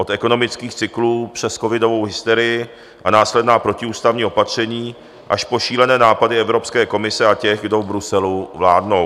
Od ekonomických cyklů, přes covidovou hysterii a následná protiústavní opatření, až po šílené nápady Evropské komise a těch, do v Bruselu vládnou.